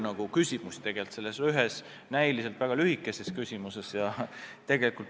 Tegelikult on selles ühes ja väga lühikeses küsimuses hästi palju küsimusi.